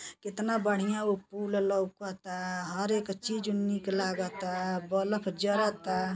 केतना बढ़िया उ पूल लउकता। हर एक चीज निक लागता। बलफ जरता।